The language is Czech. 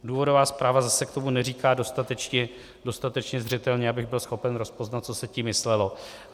Důvodová zpráva zase k tomu neříká dostatečně zřetelně, abych byl schopen rozpoznat, co se tím myslelo.